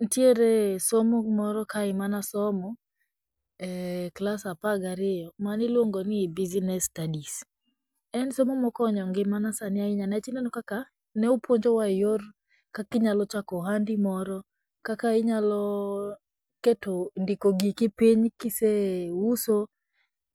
nitiere somo moro kae manasomo, e klas apar gi ariyo maniluongoni business studies, en somo mokonyo ngimana sani ahinya niwach ineno kaka nopuonjowa e yor kaka inyalochako ohandi moro, kaka inyalo keto ndiko giki piny kiseuso,